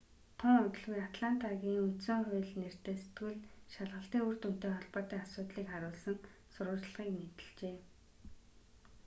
тун удалгүй атлантагийн үндсэн хууль нэртэй сэтгүүл шалгалтын үр дүнтэй холбоотой асуудлыг харуулсан сурвалжлагыг нийтэлжээ